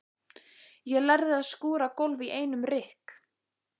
Ég lærði að skúra gólf í einum rykk.